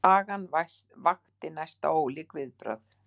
Sagan vakti næsta ólík viðbrögð.